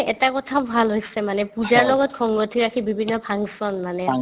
এটা কথা ভাল হৈছে মানে পূজাৰ লগত সংগতি ৰাখি বিভিন্ন function মানে